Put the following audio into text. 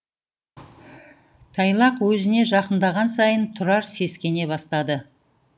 тайлақ өзіне жақындаған сайын тұрар сескене бастады